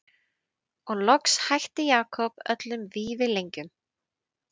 Og loks hætti Jakob öllum vífilengjum.